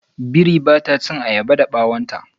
Biri ba ta chin ayaba da bawon ta.